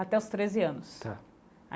Até os treze anos tá.